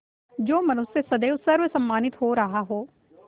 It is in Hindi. जो मनुष्य सदैव सर्वसम्मानित रहा हो